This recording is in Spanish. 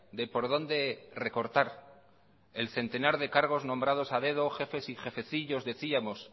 de por dónde recortar el centenar de cargos nombrados a dedo jefes y jefecillos decíamos